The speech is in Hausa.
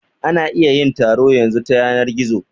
Ana iya yin taro yanzu ta yanar gizo